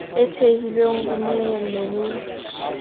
e thehilweng ho nyehelo ho